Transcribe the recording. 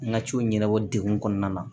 N ka ciw ɲɛnabɔ degun kɔnɔna na